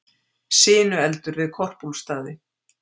Sinueldur við Korpúlfsstaði